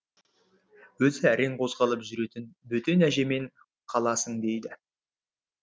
өзі әрең қозғалып жүретін бөтен әжемен қаласың дейді